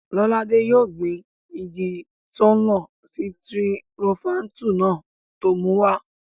Lọ́ládé yóò gbin igi tọ́lọ́n sitirofáńtù náà tó mú wá